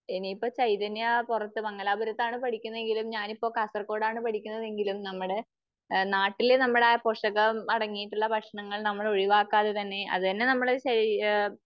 ഇനിയിപ്പോ ചൈതന്യ പുറത്ത് മാംഗലപുരത്താണ് പഠിക്കുന്നത് എങ്കിലും ഞാൻ ഇപ്പോ കാസർഗോഡ് ആണ് പഠിക്കുന്നത് എങ്കിലും നമ്മുടെ നാട്ടില്, നമ്മുടെ പോഷകം അടങ്ങിയിട്ടുള്ള ഭക്ഷണങ്ങൾ നമ്മൾ ഒഴിവാക്കാതെ തന്നെ അത് തന്നെ നമ്മള് ശരീര